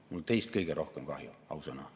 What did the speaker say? Mul on teist kõige rohkem kahju, ausõna.